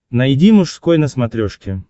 найди мужской на смотрешке